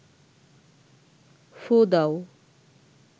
ফুঁ দাও